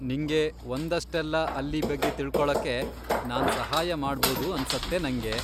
ನಿಂಗೆ ಒಂದಷ್ಟೆಲ್ಲ ಅಲ್ಲಿ ಬಗ್ಗೆ ತಿಳ್ಕೊಳಕ್ಕೆ ನಾನ್ ಸಹಾಯ ಮಾಡ್ಬೋದು ಅನ್ಸತ್ತೆ ನಂಗೆ.